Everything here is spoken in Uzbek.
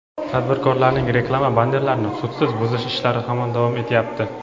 tadbirkorlarning reklama bannerlarini sudsiz buzish ishlari hamon davom etyapti.